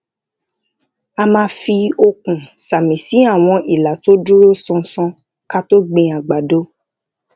a máa fi okùn sàmì sí àwọn ìlà tó dúró ṣánṣán ká tó gbin àgbàdo